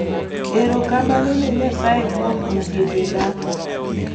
Erokamano ne Nyasaye kuom osiepena.